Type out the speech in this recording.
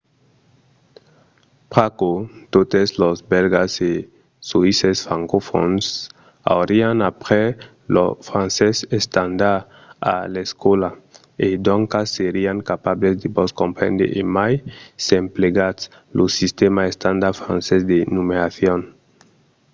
pr'aquò totes los bèlgas e soïsses francofòns aurián aprés lo francés estandard a l'escòla e doncas serián capables de vos comprendre e mai s'emplegatz lo sistèma estandard francés de numeracion